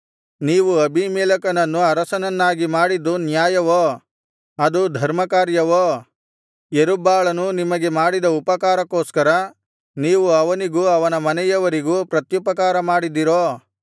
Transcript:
ನೀವು ಅಬೀಮೆಲೆಕನನ್ನು ಅರಸನನ್ನಾಗಿ ಮಾಡಿದ್ದು ನ್ಯಾಯವೋ ಅದು ಧರ್ಮಕಾರ್ಯವೋ ಯೆರುಬ್ಬಾಳನು ನಿಮಗೆ ಮಾಡಿದ ಉಪಕಾರಕ್ಕೋಸ್ಕರ ನೀವು ಅವನಿಗೂ ಅವನ ಮನೆಯವರಿಗೂ ಪ್ರತ್ಯುಪಕಾರಮಾಡಿದಿರೋ